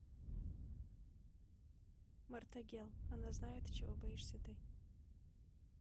мартагел она знает чего боишься ты